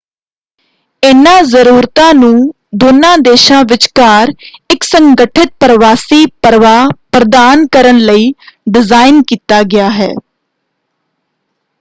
ਇਨ੍ਹਾਂ ਜਰੂਰਤਾਂ ਨੂੰ ਦੋਨਾਂ ਦੇਸ਼ਾਂ ਵਿਚਕਾਰ ਇੱਕ ਸੰਗਠਿਤ ਪ੍ਰਵਾਸੀ ਪ੍ਰਵਾਹ ਪ੍ਰਦਾਨ ਕਰਨ ਲਈ ਡਿਜ਼ਾਇਨ ਕੀਤਾ ਗਿਆ ਹੈ।